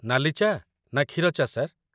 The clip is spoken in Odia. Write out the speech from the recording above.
ନାଲି ଚା' ନା କ୍ଷୀର ଚା', ସାର୍?